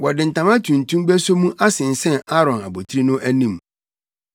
Wɔde ntama tuntum beso mu asensɛn Aaron abotiri no anim.